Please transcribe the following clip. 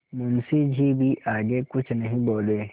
मुंशी जी भी आगे कुछ नहीं बोले